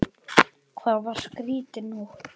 Það var skrýtin nótt.